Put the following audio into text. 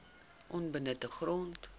onbenutte grond